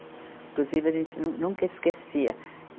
Inclusive, a gente não nunca esquecia.